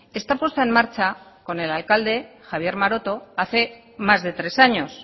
está puesta en marcha con el alcalde javier maroto hace más de tres años